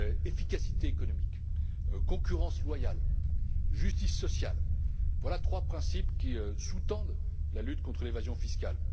Efficacité économique, concurrence loyale, justice sociale voilà trois principes qui sous tendent la lutte contre l'évasion fiscale.